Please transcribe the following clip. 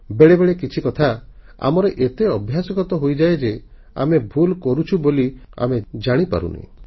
ବେଳେବେଳେ କିଛି କଥା ଆମର ଏତେ ଅଭ୍ୟାସଗତ ହୋଇଯାଏ ଯେ ଆମେ ଭୁଲ କରୁଛୁ ବୋଲି ଆମେ ଜାଣିବି ପାରୁନି